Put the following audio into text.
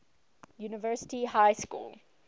university high school